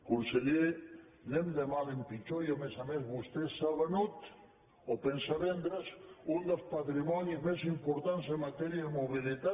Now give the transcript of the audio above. conseller anem de mal en pitjor i a més a més vostè s’ha venut o pensa vendre’s un dels patrimonis més importants en matèria de mobilitat